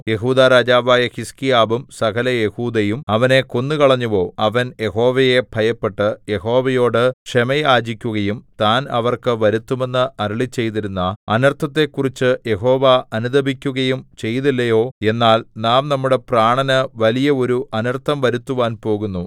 യെഹൂദാ രാജാവായ ഹിസ്കീയാവും സകല യെഹൂദയും അവനെ കൊന്നുകളഞ്ഞുവോ അവൻ യഹോവയെ ഭയപ്പെട്ട് യഹോവയോട് ക്ഷമ യാചിക്കുകയും താൻ അവർക്ക് വരുത്തുമെന്ന് അരുളിച്ചെയ്തിരുന്ന അനർത്ഥത്തെക്കുറിച്ച് യഹോവ അനുതപിക്കുകയും ചെയ്തില്ലയോ എന്നാൽ നാം നമ്മുടെ പ്രാണന് വലിയ ഒരു അനർത്ഥം വരുത്തുവാൻ പോകുന്നു